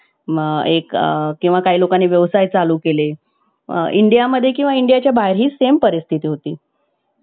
त्यांनी प्रत्येकाच्या मनावर ताबा करून प्रत्येकाला हसवून हसवून सगळ्यांचे पॉट दुखवलेले आहे मित्रानो अश्या प्रकारे आपण विविध प्रकारे आपले entertainment करू शकतो